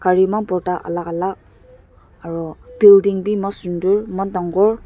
gari eman borta alak alak aro building bi eman sundor eman dangor.